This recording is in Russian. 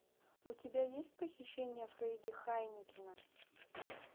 у тебя есть похищение фредди хайнекена